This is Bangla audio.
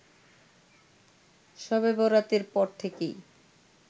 ‌শবে বরাতের পর থেকেই